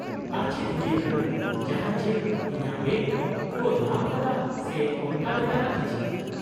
-ᱟᱨᱚ ᱪᱮᱫ ᱦᱩᱭ ᱟᱠᱟᱱᱟ? ᱡᱟᱦᱟᱸᱭ ᱪᱮᱫ ᱤᱧᱟᱹᱜ ᱵᱮᱜᱽ ᱠᱚ ᱧᱟᱢ ᱟᱠᱟᱫᱟ ᱥᱮ ᱚᱱᱠᱟ ᱞᱮᱠᱟᱱᱟᱜ ᱠᱤᱪᱷᱤ ?